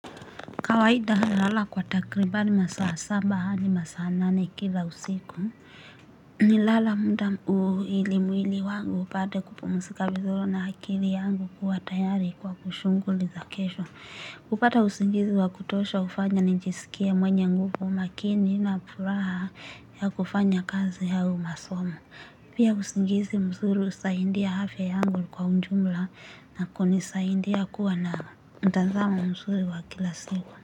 Kawaida ha na lala kwa takribani masaa saba adi masaa nane kila usiku. Ni lala mda uilimwili wangu upate kupumsika vizuro na akili yangu kuwa tayari kwa kushunguli za kesho. Kupata usingizi wa kutosha ufanya ninjisikie mwenye nguvu makini na puraha ya kufanya kazi au masomo. Pia usingizi mzuri usaindia afya yangu kwa unjumla na kunisaindia kuwa na mtazamo msuri wa kila siku.